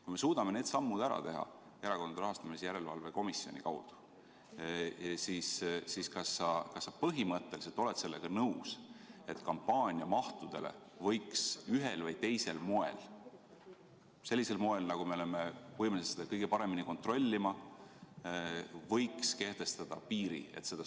Kui me suudame need sammud ära teha Erakondade Rahastamise Järelevalve Komisjoni kaudu, siis kas sa põhimõtteliselt oled sellega nõus, et kampaaniamahtudele võiks ühel või teisel moel – sellisel moel, et me oleme võimelised seda kõike paremini kontrollima – kehtestada piiri?